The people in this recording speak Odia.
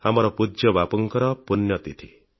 ଆମର ପୂଜ୍ୟ ବାପୁଙ୍କର ପୁଣ୍ୟତିଥି